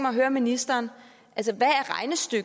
at høre ministeren